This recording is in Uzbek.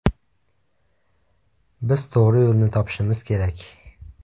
Biz to‘g‘ri yo‘lni topishimiz kerak.